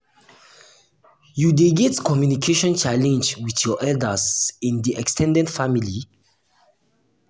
you dey get communication challenge with your elders in di ex ten ded family?